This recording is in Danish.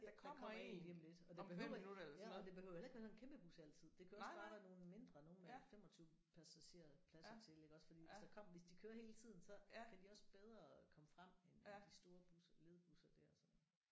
Der kommer en lige om lidt ja og det behøver ikke ja og det behøver heller ikke være en kæmpebus altid det kan også bare være nogle mindre nogle med 25 passagerpladser til iggås fordi hvis der kommer hvis de kører hele tiden så kan de også bedre komme frem end de store busser ledbusser der så